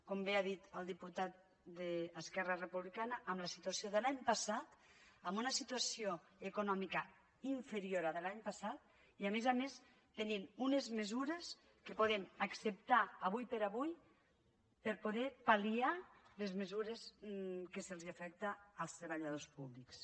com bé ho ha dit el diputat d’esquerra republicana en la situació de l’any passat amb una situació econòmica inferior a la de l’any passat i a més a més tenim unes mesures que podem acceptar ara com ara per poder pal·liar les mesures que afecten els treballadors públics